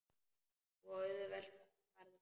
Svo auðvelt var það.